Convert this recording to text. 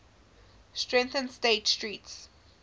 strengthened state street's